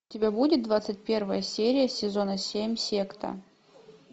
у тебя будет двадцать первая серия сезона семь секта